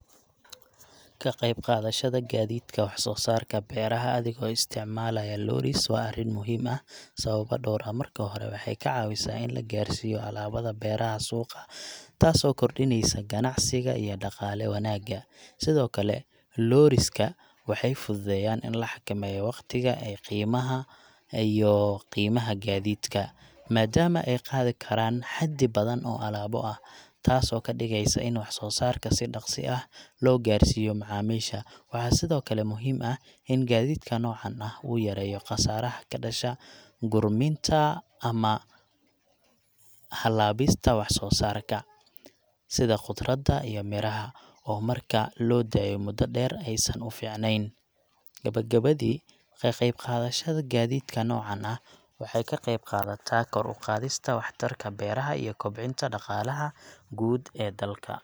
Ka qeyb qaadashada gaadiidka wax soo saarka beeraha adigoo isticmaalaya lorries waa arrin muhiim ah sababo dhowr ah. Marka hore, waxay ka caawisaa in la gaarsiiyo alaabada beeraha suuqa, taas oo kordhinaysa ganacsiga iyo dhaqaale wanaagga. Sidoo kale, lorries ka waxay fududeeyaan in la xakameeyo waqtiga ee qiimaha iyo qiimaha gaadiidka, maadaama ay qaadi karaan xaddi badan oo alaabo ah, taasoo ka dhigaysa in wax soo saarka si dhaqso ah loo gaarsiiyo macaamiisha. Waxaa sidoo kale muhiim ah in gaadiidka noocan ahi uu yareeyo khasaaraha ka dhasha gurminta ama halaabista wax soo saarka, sida khudradda iyo miraha, oo marka loo daayo muddo dheer aysan u fiicnayn. Gabagabadii, ka qayb qaadashada gaadiidka noocan ah waxay ka qeyb qaadataa kor u qaadista waxtarka beeraha iyo kobcinta dhaqaalaha guud ee dalka.